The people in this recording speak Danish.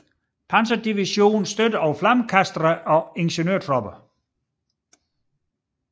Panzerdivision støttet af flammekastere og ingeniørtropper